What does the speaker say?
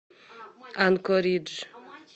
анкоридж